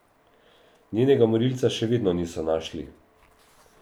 Njenega morilca še vedno niso našli.